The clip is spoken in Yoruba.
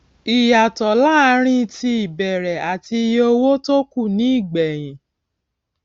ìyàtọ láàárín tí ìbẹrẹ àti iye owó tó kù ní ìgbẹyìn